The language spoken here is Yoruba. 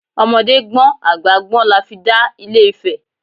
Ọmọdé gbọ́n àgbà gbọ́n la fi dá ilé Ifẹ̀!